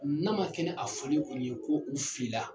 N'a ma kɛ ni a foli kɔni ye ko u filila